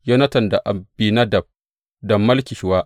Yonatan da Abinadab da Malki Shuwa.